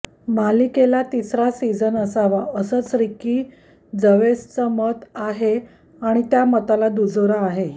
मालिकेला तिसरा सीझन असावा असच रिकी जव्हेसचं मत आहे आणि त्या मताला दुजोरा आहे